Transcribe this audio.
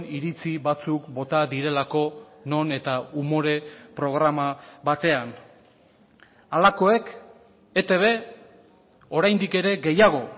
iritzi batzuk bota direlako non eta umore programa batean halakoek etb oraindik ere gehiago